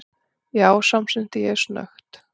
Já, samsinni ég snöggt.